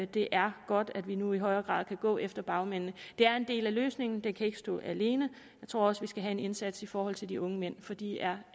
det er godt at vi nu i højere grad kan gå efter bagmændene det er en del af løsningen men det kan ikke stå alene jeg tror også vi skal have en indsats i forhold til de unge mænd for de er